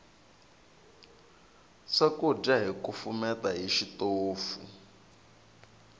swakudya hi kufumeta hi xitofu